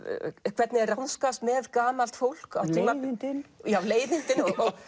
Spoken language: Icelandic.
hvernig er ráðskast með gamalt fólk leiðindin leiðindin